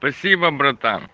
спасибо брат